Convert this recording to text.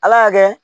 Ala y'a kɛ